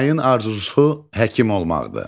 Humayın arzusu həkim olmaqdır.